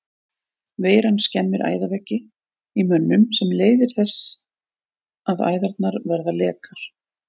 Veiran skemmir æðaveggi í mönnum sem leiðir þess að æðarnar verða lekar.